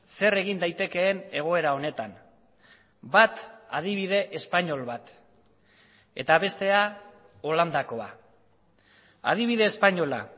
zer egin daitekeen egoera honetan bat adibide espainol bat eta bestea holandakoa adibide espainola